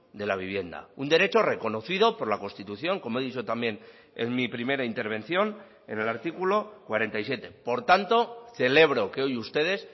de la vivienda un derecho reconocido por la constitución como he dicho también en mi primera intervención en el artículo cuarenta y siete por tanto celebro que hoy ustedes